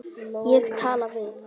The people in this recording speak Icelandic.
Ég talaði við